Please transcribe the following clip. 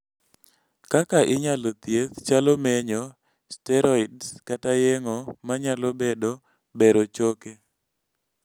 kwko inyalo thieth chalo menyo, steroids kata yeng'o manyalo bedo bero choke